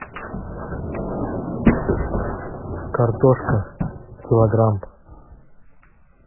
картошка килограмм